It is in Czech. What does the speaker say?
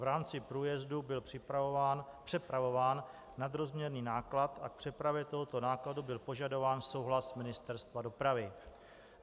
V rámci průjezdu byl přepravován nadrozměrný náklad a k přepravě tohoto nákladu byl požadován souhlas Ministerstva dopravy.